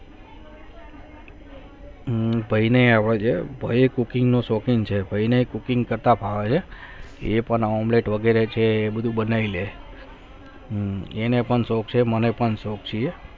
બાહીને આવા છે બહિં cooking કરતા શોકીન છે બાહીને ભાવે છે એ પણ omlete વગેરે કુછ બનાયી છે એને પણ શોક છે મને પણ શોક છે